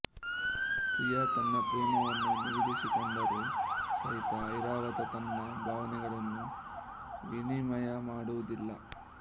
ಪ್ರಿಯಾ ತನ್ನ ಪ್ರೇಮವನ್ನು ನಿವೇದಿಸಿಕೊಂಡರೂ ಸಹಿತ ಐರಾವತ ತನ್ನ ಭಾವನೆಗಳನ್ನು ವಿನಿಮಯ ಮಾಡುವುದಿಲ್ಲ